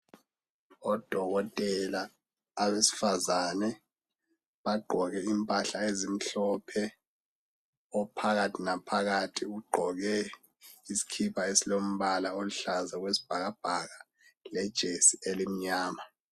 Odokotela abesifazane bagqoke impahla ezimhlophe ophakathi naphakathi ugqoke iskhipha esilombala oluhlaza okwesibhakabhaka lejesi elimnyama.